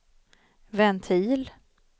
ventil